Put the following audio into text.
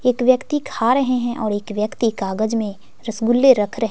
एक व्यक्ति खा रहे हैं और एक व्यक्ति कागज में रसगुल्ले रख रहे--